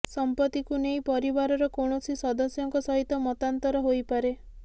ସଂପତ୍ତିକୁ ନେଇ ପରିବାରର କୌଣସି ସଦସ୍ୟଙ୍କ ସହିତ ମତାନ୍ତର ହୋଇପାରେ